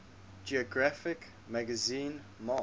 geographic magazine march